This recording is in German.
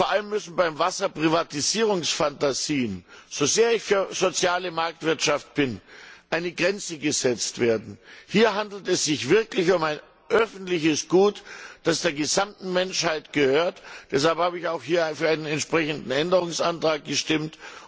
Vor allem müssen beim Wasser Privatisierungsfantasien, so sehr ich für soziale Marktwirtschaft bin, eine Grenze gesetzt werden. Hier handelt es sich wirklich um ein öffentliches Gut, das der gesamten Menschheit gehört. Deshalb habe ich auch hier für einen entsprechenden Änderungsantrag gestimmt.